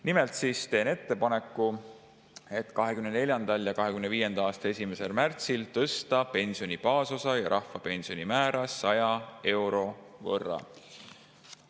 Nimelt teen ettepaneku 2024. ja 2025. aasta 1. märtsil tõsta pensioni baasosa ja rahvapensioni määra 100 euro võrra.